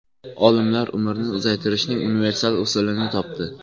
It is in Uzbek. Olimlar umrni uzaytirishning universal usulini topdi.